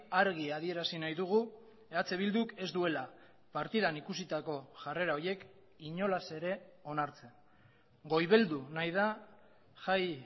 argi adierazi nahi dugu eh bilduk ez duela partidan ikusitako jarrera horiek inolaz ere onartzen goibeldu nahi da jai